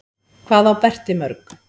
Hvað á Berti mörg?